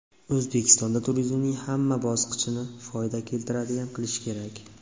O‘zbekistonda turizmning hamma bosqichini foyda keltiradigan qilish kerak.